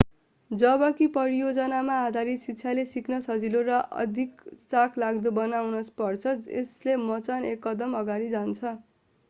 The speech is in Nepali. जबकि परियोजनामा आधारित शिक्षाले सिक्न सजिलो र अधिक चाखलाग्दो बनाउनु पर्छ जसले मचान एक कदम अगाडि जान्छ